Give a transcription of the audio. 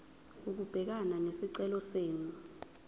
ukubhekana nesicelo senu